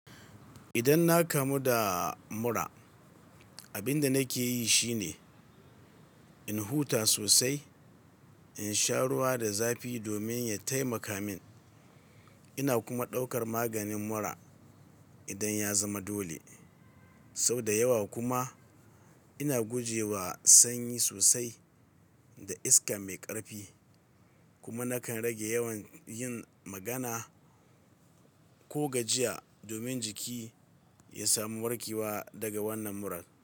Idan na kamu da mura, abin da nake yi shine in huta sosai, in sha ruwa da zafi domin ya taimaka min. Ina kuma ɗaukar maganin mura idan ya zama dole. Sau da yawa kuma ina guje wa sanyi sosai da iska mai ƙarfi. Kuma nakan rage yawan yin magana ko gajiya domin jiki ya samu warkewa daga wannan murar.